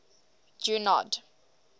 junod